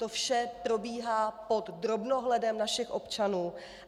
To vše probíhá pod drobnohledem našich občanů.